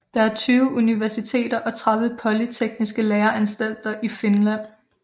Der er 20 universiteter og 30 polytekniske læreanstalter i Finland